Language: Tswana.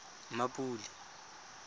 mmapule